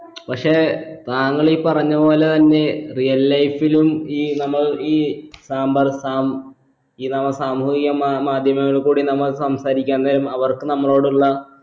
പക്ഷെ താങ്കൾ ഈ പറഞ്ഞ പോലെ തന്നെ real life ലും ഈ നമ്മൾ ഈ സാമ്പർ സാം ഈ നമ്മള സാമൂഹിക മാ മാധ്യമങ്ങളിൽ കൂടി നമ്മൾ സംസാരിക്കാതെ അവർക്ക് നമ്മളോടുള്ള